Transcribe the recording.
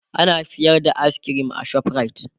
ana sayar da ayis kirim a shoprite